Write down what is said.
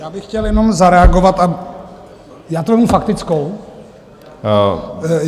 Já bych chtěl jenom zareagovat - já to vezmu faktickou.